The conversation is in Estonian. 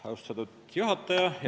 Austatud juhataja!